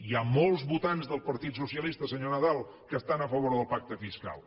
hi ha molts votants del partit socialista senyor nadal que estan a favor del pacte fiscal